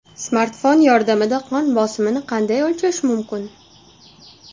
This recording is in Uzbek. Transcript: Smartfon yordamida qon bosimini qanday o‘lchash mumkin?.